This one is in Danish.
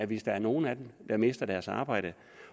hvis der er nogen af dem der mister deres arbejde